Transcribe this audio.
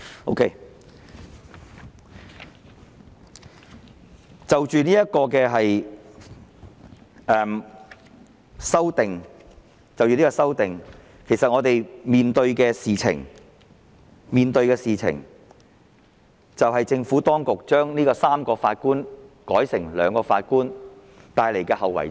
好的，就着這項修正案，其實我們所面對的問題，就是政府當局把上訴法庭3名法官改成兩名所帶來的後遺症。